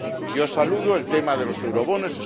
Yo saludo el tema de los eurobonos.